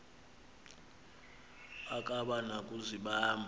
akaba na kuzibamba